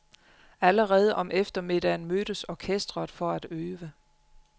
Allerede om eftermiddagen mødtes orkesteret for at øve.